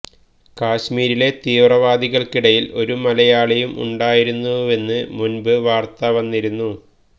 കശ്മീരിലെ തീവ്രവാദികള്ക്കിടയില് ഒരു മലയാളിയും ഉണ്ടായിരുന്നുവെന്ന് മുന്പ് വാര്ത്ത വന്നിരുന്നു